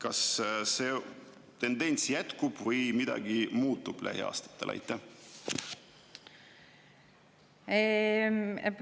Kas see tendents jätkub või lähiaastatel midagi muutub?